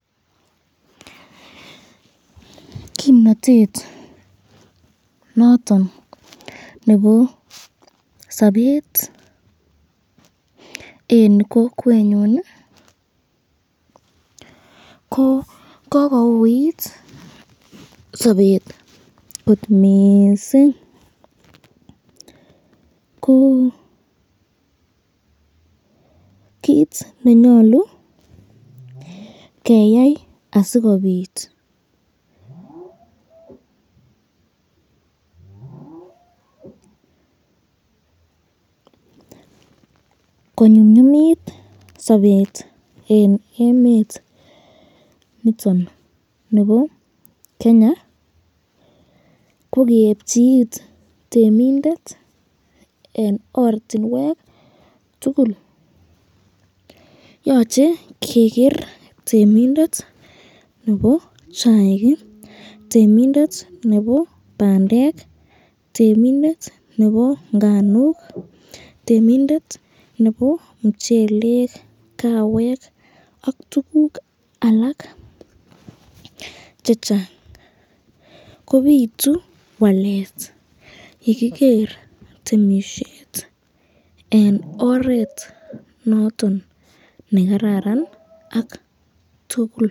Kimnatet noton nebo sabet eng kokwenyun, ko kokoit sabet kot missing ,kokit nenyalu keyai asikobit konyumnyumit sabet eng emet niton nebo Kenya kokeebchi it temindet eng ortinwek tukul, yoche keger temindet nebo chaik, temindet nebo bandek, temindet nebo nganuk, temindet nebo mchelek, kawek ak tukuk alak chechang, kobitu wslet yekiger temisyet eng oret noton nekararan ak tukul.